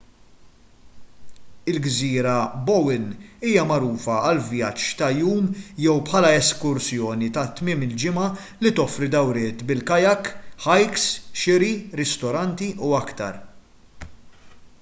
il-gżira bowen hija magħrufa għal vjaġġ ta' jum jew bħala eskursjoni ta' tmiem il-ġimgħa li toffri dawriet bil-kayak hikes xiri ristoranti u aktar